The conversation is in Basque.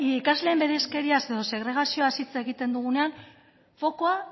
ikasleen bereizkeriaz edo segregazioaz hitz egiten dugunean fokoa